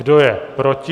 Kdo je proti?